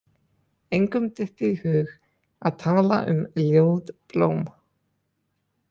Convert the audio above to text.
Engum dytti í hug að tala um ljót blóm.